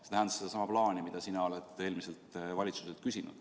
See tähendas sedasama plaani, mida sina oled eelmiselt valitsuselt küsinud.